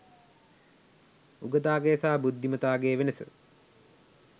උගතාගේ සහ බුද්ධිමතාගේ වෙනස